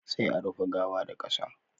Sai a rufe gawa da qasa